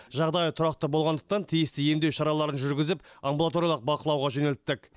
жағдайы тұрақты болғандықтан тиісті емдеу шараларын жүргізіп амбулаториялық бақылауға жөнелттік